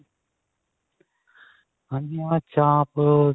ਹਾਂਜੀ ਹਾਂਜੀ ਹਾਂ ਚਾਂਪ